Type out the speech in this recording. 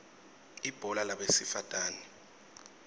ibhola labesifatane